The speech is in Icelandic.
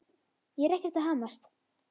Ég er ekkert að hamast.